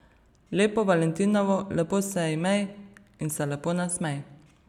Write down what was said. Lepo valentinovo, lepo se imej in se lepo nasmej.